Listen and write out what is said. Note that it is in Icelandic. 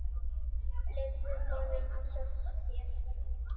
Leyfðu honum að hjálpa þér.